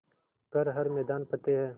कर हर मैदान फ़तेह